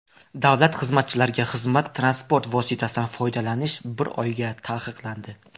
Davlat xizmatchilariga xizmat transport vositasidan foydalanish bir oyga taqiqlandi.